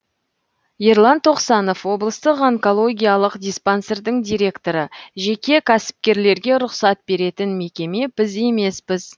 ерлан тоқсанов облыстық онкологиялық диспансердің директоры жеке кәсіпкерлерге рұқсат беретін мекеме біз емеспіз